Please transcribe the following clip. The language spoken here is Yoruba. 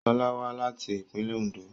Sola wá láti ìpínlẹ́ Òndó